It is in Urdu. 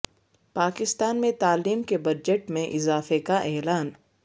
پاکستان میں تعلیم کے بجٹ میں اضافے کا اعلان